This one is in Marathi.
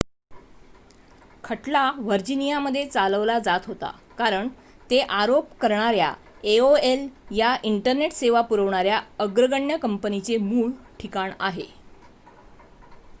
खटला व्हर्जिनियामध्ये चालवला जात होता कारण ते आरोप करणाऱ्या aol या इंटरनेट सेवा पुरवणाऱ्या अग्रगण्य कंपनीचे मूळ ठिकाण आहे